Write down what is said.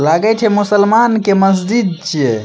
लागे छे मुस्लमान के मस्जिद छे।